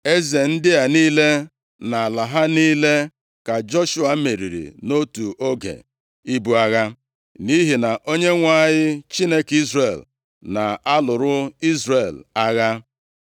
Eze ndị a niile, na ala ha niile, ka Joshua meriri nʼotu oge ibu agha, nʼihi na Onyenwe anyị, Chineke Izrel na-alụrụ Izrel agha.